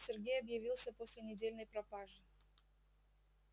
сергей объявился после недельной пропажи